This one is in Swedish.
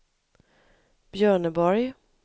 Björneborg